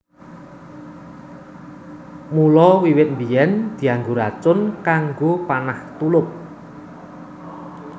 Mula wiwit biyèn dianggo racun kanggo panah tulup